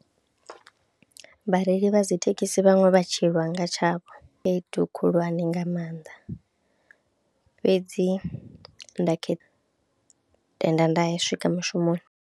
Vhareili vha dzi thekhisi vhaṅwe vha tshi lwa nga tshavho khaedu khulwane nga maanḓa fhedzi nda khe, tenda nda swika mushumoni.